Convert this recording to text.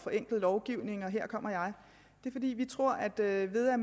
forenklet lovgivning og her kommer jeg det er fordi vi tror at at ved at